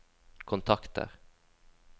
kontakter